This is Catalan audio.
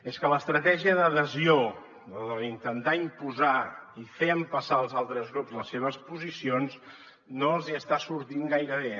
és que l’estratègia d’adhesió la d’intentar imposar i fer empassar als altres grups les seves posicions no els hi està sortint gaire bé